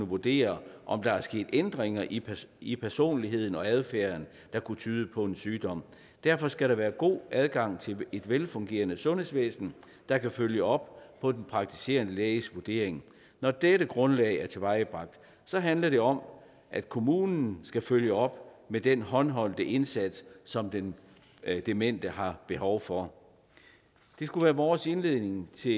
vurdere om der er sket ændringer i i personligheden og adfærden der kunne tyde på en sygdom derfor skal der være god adgang til et velfungerende sundhedsvæsen der kan følge op på den praktiserende læges vurdering når dette grundlag er tilvejebragt handler det om at kommunen skal følge op med den håndholdte indsats som den demente har behov for det skulle være vores indledning til